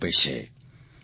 પ્રેરણા આપે છે